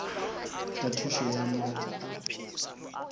ka thušo ya maatla a